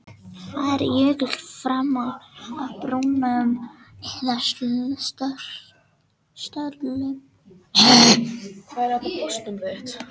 Fari jökull fram af brúnum eða stöllum, verða til þversprungur.